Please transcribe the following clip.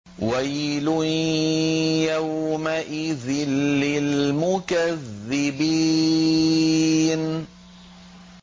وَيْلٌ يَوْمَئِذٍ لِّلْمُكَذِّبِينَ